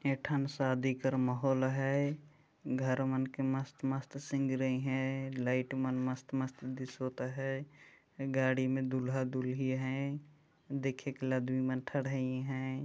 ये ठन शादी कर माहौल है घर मन के मस्त-मस्त सिंग रही है लाइट मन मस्त-मस्त दिसोत है गाड़ी में दूल्हा-दुलही है देखेत ल दुई मन ठडहाई है।